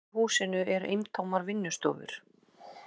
Í húsinu eru eintómar vinnustofur.